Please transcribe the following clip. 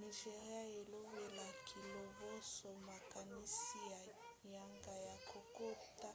nigéria elobelaki liboso makanisi na yango ya kokota